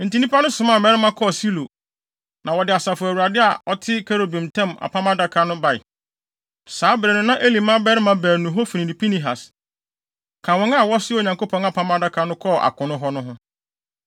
Enti nnipa no somaa mmarima kɔɔ Silo, na wɔde Asafo Awurade a ɔte kerubim ntam Apam Adaka no bae. Saa bere no na Eli mmabarima baanu Hofni ne Pinehas ka wɔn a wɔsoaa Onyankopɔn Apam Adaka no kɔɔ akono hɔ no ho.